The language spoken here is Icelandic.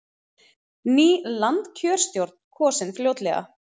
Ný landskjörstjórn kosin fljótlega